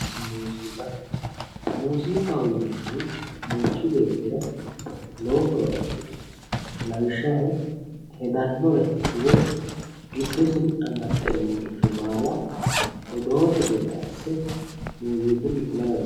muuziiqa, muuziiqaho yinannihu manchi beeettira lowo horo afi'noho lawishshaho hedannore woy giddosi amaxxe noore baala odoote gede asse muuziiqunni kula dandaanno.